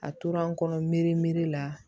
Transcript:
A tora n kɔnɔ merimeri la